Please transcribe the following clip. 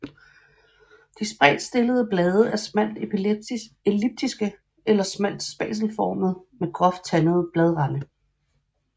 De spredt stillede blade er smalt elliptiske eller smalt spatelformede med groft tandede bladrande